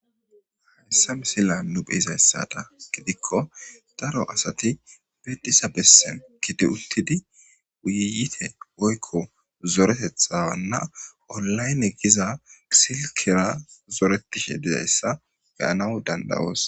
Hayssa misila nu beyizayssada gidikko daro asati bedisa bessen kide uttidi wuyite woykko zoretethawanna olayne giza silkera zoretishe dizayssa beyanaw dandawoos.